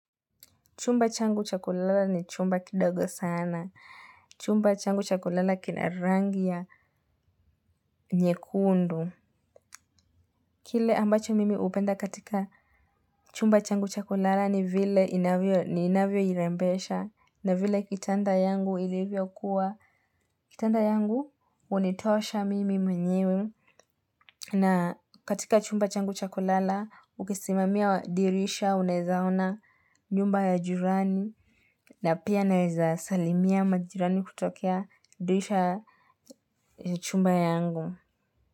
Chumba changu cha kulala ni chumba kidogo sana. Chumba changu cha kulala kina rangi ya nyekundu. Kile ambacho mimi hupenda katika chumba changu cha kulala ni vile ninavyoirembesha. Na vile kitanda yangu ilivyokuwa. Kitanda yangu hunitosha mimi mwenyewe. Na katika chumba changu cha kulala, ukisimamia dirisha unaeza ona nyumba ya jirani. Na pia naweza salimia majirani kutokea dirisha chumba yangu.